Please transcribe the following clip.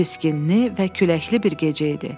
Çiskinli və küləkli bir gecə idi.